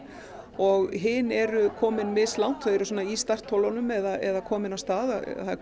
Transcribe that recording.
og hin eru komin mislangt þau eru svona í startholunum eða komin af stað það er